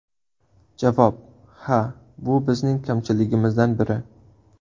Javob: Ha, bu bizning kamchiligimizdan biri.